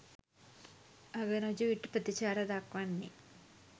අගරජු ඊට ප්‍රතිචාර දක්වන්නේ